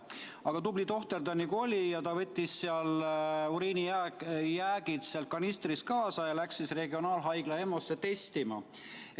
Aga tubli tohter, nagu ta on, ta võttis kanistris olnud uriini jäägi kaasa ja läks regionaalhaigla EMO-sse testima.